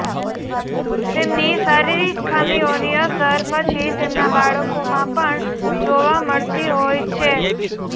તેમની શારીરિક ખામીઓની અસર પછી તેમનાં બાળકોમાં પણ જોવા મળતી હોય છે